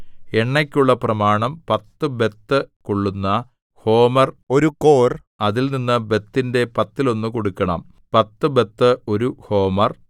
എണ്ണയ്ക്കുള്ള പ്രമാണം പത്തു ബത്ത് കൊള്ളുന്ന ഹോമെർ ഒരു കോർ അതിൽനിന്ന് ബത്തിന്റെ പത്തിലൊന്ന് കൊടുക്കണം പത്തു ബത്ത് ഒരു ഹോമെർ